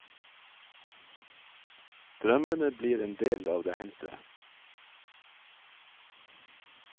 Drømmene blir en del av det hendte.